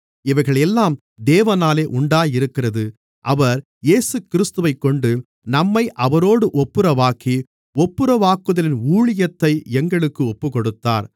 இவைகளெல்லாம் தேவனாலே உண்டாயிருக்கிறது அவர் இயேசுகிறிஸ்துவைக்கொண்டு நம்மை அவரோடு ஒப்புரவாக்கி ஒப்புரவாக்குதலின் ஊழியத்தை எங்களுக்கு ஒப்புக்கொடுத்தார்